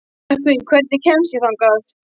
Nökkvi, hvernig kemst ég þangað?